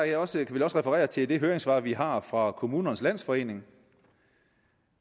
jeg også referere til det høringssvar vi har fra kommunernes landsforening